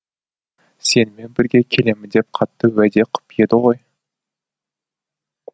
сенімен бірге келемін деп қатты уәде қып еді ғой